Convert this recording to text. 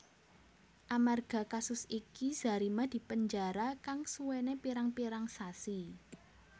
Amarga kasus iki Zarima dipenjara kang suwené pirang pirang sasi